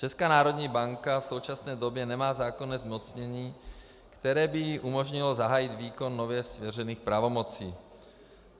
Česká národní banka v současné době nemá zákonné zmocnění, které by jí umožnilo zahájit výkon nově svěřených pravomocí.